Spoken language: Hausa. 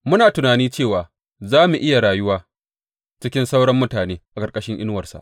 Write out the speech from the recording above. Muna tunani cewa za mu iya rayuwa cikin sauran mutane a ƙarƙashin inuwarsa.